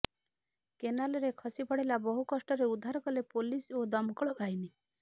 କେନାଲରେ ଖସି ପଡିଲା ବହୁ କଷ୍ଟରେ ଉଦ୍ଧାର କଲେ ପୋଲିସ ଓ ଦମକଳବାହିନୀ